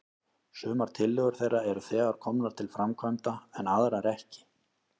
Sumar tillögur þeirra eru þegar komnar til framkvæmda, en aðrar ekki.